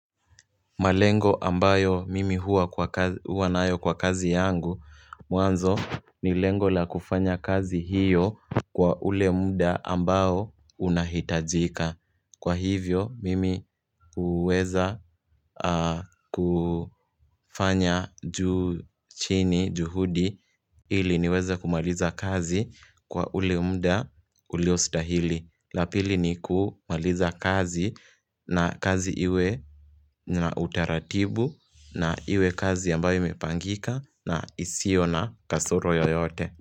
Malengo ambayo mimi huwa nayo kwa kazi yangu Mwanzo ni lengo la kufanya kazi hiyo Kwa ule muda ambao unahitajika Kwa hivyo mimi huweza kufanya juu chini juhudi ili niweza kumaliza kazi kwa ule muda uliostahili la pili ni kumaliza kazi na kazi iwe na utaratibu na iwe kazi ambayo imepangika na isiyo na kasoro yoyote.